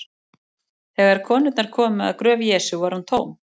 Þegar konurnar komu að gröf Jesú var hún tóm.